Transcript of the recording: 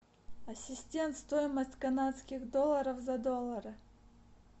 ассистент стоимость канадских долларов за доллары